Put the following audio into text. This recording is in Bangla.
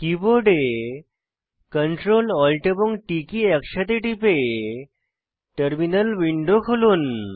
কীবোর্ডে Ctrl Alt এবং T কী একসাথে টিপে টার্মিনাল উইন্ডো খুলুন